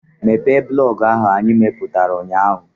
Mepee blọọgụ ahụ anyị mepụtara ụnyaahụ!